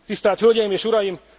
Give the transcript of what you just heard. Tisztelt hölgyeim és uraim!